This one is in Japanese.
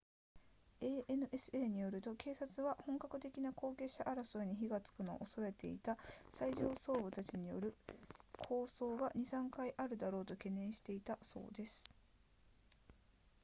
ansa によると警察は本格的な後継者争いに火がつくのを恐れていた最上層部たちによる抗争が 2～3 回あるだろうと懸念していたそうです